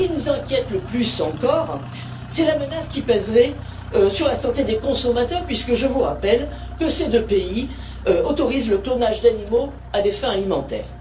Mais, ce qui nous inquiète le plus encore, c'est la menace qui pèserait sur la santé des consommateurs puisque, je vous le rappelle, ces deux pays autorisent le clonage d'animaux à des fins alimentaires.